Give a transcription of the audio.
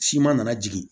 Siman nana jigin